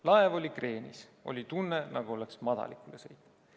Laev oli kreenis, oli tunne, nagu oleks madalikule sõitnud.